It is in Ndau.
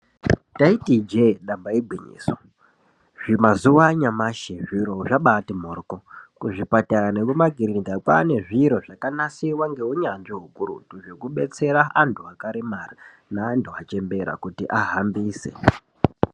Taiti ijee damba igwinyiso zvimazuva anyamashi zviro zvabaati mhoryo. Kuzvipatara nekumakirinikayo kwaanezvimichina zvakanasirwa neunyanzvi hukurutu zvekudetsera antu akaremara neantu achembera kuti ahambise.